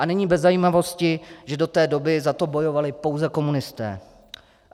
A není bez zajímavosti, že do té doby za to bojovali pouze komunisté.